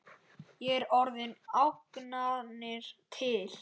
Er orðið ógnanir til?